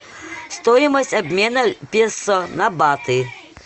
стоимость обмена песо на баты